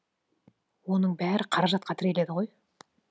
оның бәрі қаражатқа тіреледі ғой